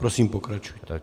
Prosím, pokračujte.